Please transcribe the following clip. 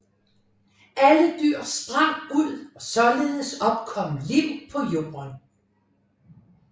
Alle dyr sprang ud og således opkom liv på jorden